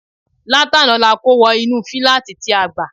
Látàná ni a kó wọ inú fíláàtì tí a gbà